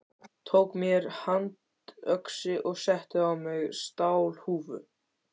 Tók mér handöxi og setti á mig stálhúfu.